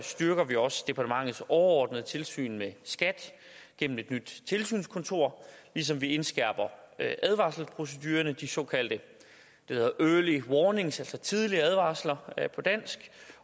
styrker vi også departementets overordnede tilsyn med skat gennem et nyt tilsynskontor ligesom vi indskærper advarselsprocedurerne de såkaldte early warnings altså tidlige advarsler på dansk